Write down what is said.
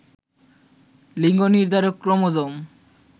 লিঙ্গ নির্ধারক ক্রোমোজোম